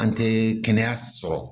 An tɛ kɛnɛya sɔrɔ